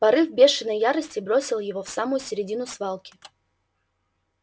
порыв бешеной ярости бросил его в самую середину свалки